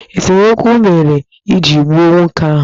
Esemokwu mere eji gbuo nwoke ahụ